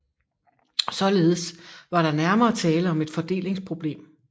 Således var der nærmere tale om et fordelingsproblem